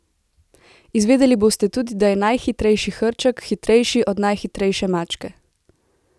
Izvedeli boste tudi, da je najhitrejši hrček hitrejši od najhitrejše mačke!